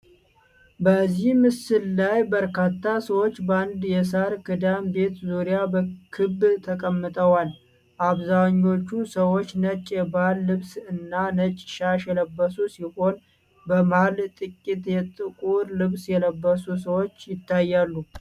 በዚህ ምስል ላይ በርካታ ሰዎች በአንድ የሳር ክዳን ቤት ዙሪያ በክብ ተቀምጠዋል። አብዛኞቹ ሰዎች ነጭ የባህል ልብስና ነጭ ሻሽ የለበሱ ሲሆን፣ በመሃል ጥቂት የጥቁር ልብስ የለበሱ ሰዎች ይታያሉ።